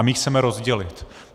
A my ji chceme rozdělit.